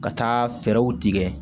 Ka taa fɛɛrɛw tigɛ